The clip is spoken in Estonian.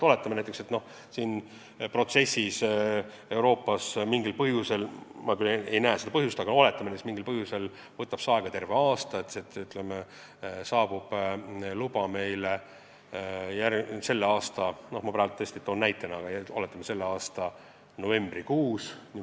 Oletame, et see protsess võtab Euroopas mingil põhjusel – ma küll ei näe seda põhjust, aga oletame, et see juhtub – aega terve aasta, et luba saabub meile selle aasta – ma praegu toon tõesti lihtsalt sellise näite – novembrikuus.